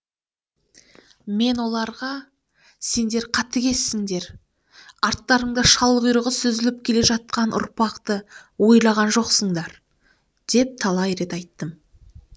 мен оларға сендер қатігезсіңдер арттарыңда шалқұйрығы сүзіліп келе жатқан ұрпақты ойлаған жоқсыңдар деп талай рет айттым